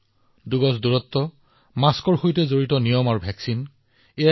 সেয়া দুই গজৰ দূৰত্ব মাস্কৰ নিয়ম বা ভেকছিনেই হওক আমি শিথিল হব নালাগে